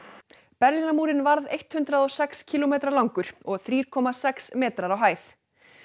Berlínarmúrinn varð hundrað og sex kílómetra langur og þrjú komma sex metrar á hæð